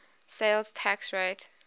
sales tax rate